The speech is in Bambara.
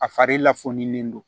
A fari la foni don